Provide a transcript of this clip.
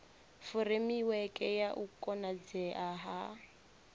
furemiweke ya u konadzea ha